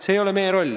See ei ole meie roll.